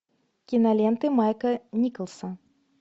киноленты майка николса